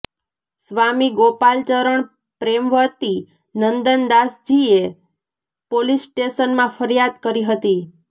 સ્વામી ગોપાલચરણ પ્રેમવતી નંદનદાસજીએ પોલીસ સ્ટેશનમાં ફરિયાદ કરી હતી